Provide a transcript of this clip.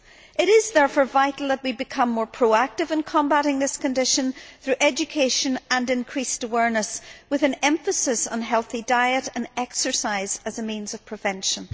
It is therefore vital that we become more proactive in combating this condition through education and increased awareness, with an emphasis on healthy diet and exercise as a means of prevention.